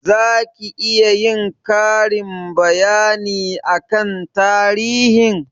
Za ki iya yin karin bayani akan tarihin?